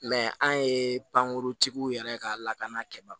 an ye pankurutigiw yɛrɛ ka lakana kɛ